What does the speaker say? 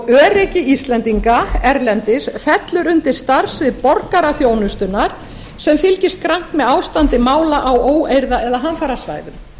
grund öryggi íslendinga erlendis fellur undir starfssvið borgaraþjónustunnar sem fylgist grannt með áfangi mála á óeirða eða hamfarasvæðum